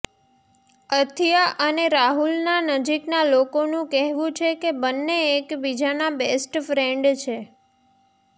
અથિયા અને રાહુલના નજીકના લોકોનુ કહેવુ છે કે બંને એકીબીજાના બેસ્ટ ફ્રેન્ડ છે